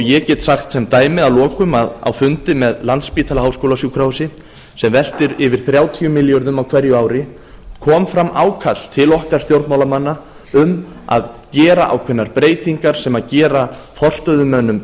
ég get sagt sem dæmi að lokum að á fundi með landspítala háskólasjúkrahúsi sem veltir yfir þrjátíu milljörðum á hverju ári kom fram ákall til okkar stjórnmálamanna um að gera ákveðnar breytingar sem gefa forstöðumönnum